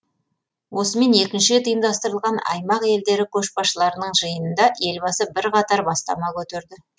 осымен екінші рет ұйымдастырылған аймақ елдері көшбасшыларының жиынында елбасы бірқатар бастама көтерді